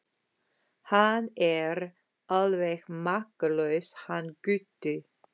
Hann er alveg makalaus hann Gutti.